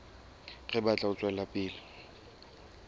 re batla ho tswela pele